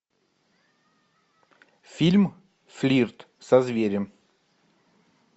фильм флирт со зверем